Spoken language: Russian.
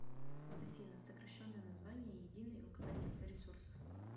афина сокращенное название единый указатель ресурсов